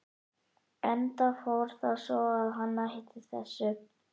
Enda fór það svo að hann hætti þessu.